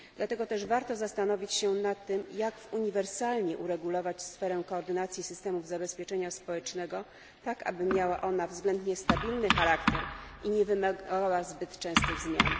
Dlatego też warto zastanowić się nad tym, jak uniwersalnie uregulować sferę koordynacji systemów zabezpieczenia społecznego, tak aby miała ona względnie stabilny charakter i nie wymagała zbyt częstych zmian.